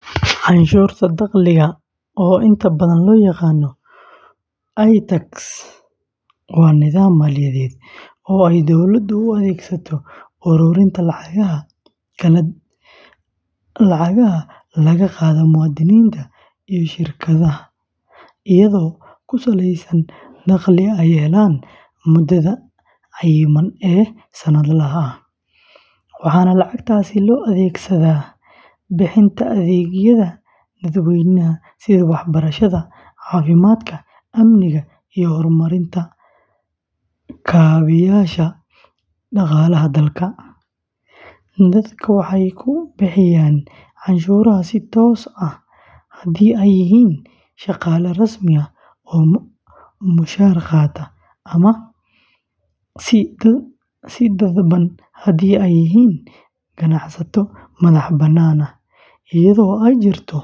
Canshuurta dakhliga, oo inta badan loo yaqaan "I Tax," waa nidaam maaliyadeed oo ay dowladda u adeegsato ururinta lacagaha laga qaado muwaadiniinta iyo shirkadaha iyadoo ku saleysan dakhliga ay helaan muddada cayiman ee sanadlaha ah, waxaana lacagtaasi loo adeegsadaa bixinta adeegyada dadweynaha sida waxbarashada, caafimaadka, amniga, iyo horumarinta kaabeyaasha dhaqaalaha dalka; dadku waxay ku bixinayaan canshuuraha si toos ah haddii ay yihiin shaqaale rasmi ah oo mushahar qaata ama si dadban haddii ay yihiin ganacsato madax-bannaan, iyadoo ay jirto